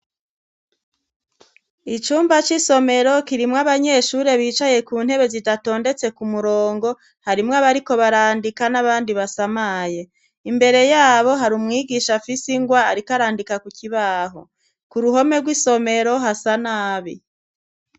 Icumba c'isomero kirimw abanyeshuri bicaye ku ntebe zidatondetse ku murongo. Harimwo abariko barandika n'abandi basamaye. Imbere yabo hari umwigisha agise ingwa ariko randika. Ku kibaho ku ruhome rw'isomero hasa nabi.